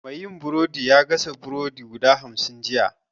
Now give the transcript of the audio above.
Mai yin burodin ya gasa burodi guda hamsin jiya